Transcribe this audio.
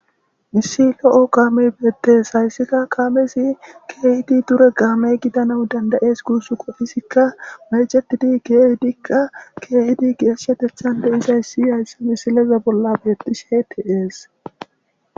Issi lo kaamey dees hayssikka kaamezi keehidii duure kaame gidanawus dandayes guussukko izikka mecetidi keehidiikka keehidii geeshshateththa nagidi dizayssi hayssa misileza bolla de'es.